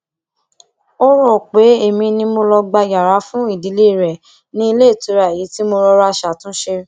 ó rò pé èmi ni màá lọ gba yàrá fún ìdílé rẹ ní ilé ìtura èyí tí mo rọra ṣàtúnṣe